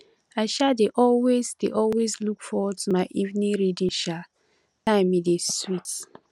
i um dey always dey always look forward to my evening reading um time e dey sweet